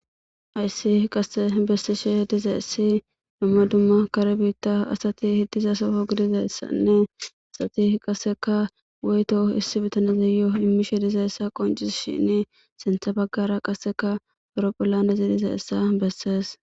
Hayssi qasse bessishe dizayssi dumma dumma kare biitta asati diza soho gididayssanne adatiqasseka woyto issi bitaneyo immishe dizayssa bessishe dees.sintha baggara qasseka Ayropilaaney dees.